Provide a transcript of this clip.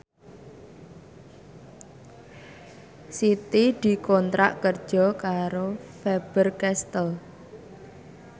Siti dikontrak kerja karo Faber Castel